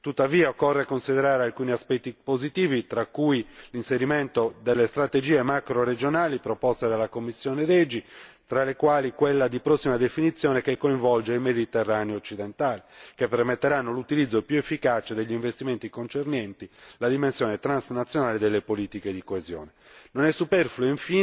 Tuttavia, occorre considerare alcuni aspetti positivi, tra cui l'inserimento delle strategie macroregionali proposte dalla commissione REGI, tra le quali quella di prossima definizione che coinvolge il Mediterraneo occidentale, che permetterà l'utilizzo più efficace degli investimenti concernenti la dimensione transnazionale delle politiche di coesione. Infine, non è superfluo